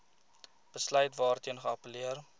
besluit waarteen geappelleer